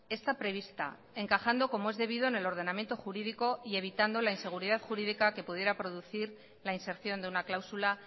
está prevista encajando como es debido en el ordenamiento jurídico y evitando la inseguridad jurídica que pudiera producir la inserción de una cláusula